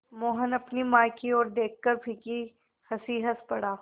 मोहन अपनी माँ की ओर देखकर फीकी हँसी हँस पड़ा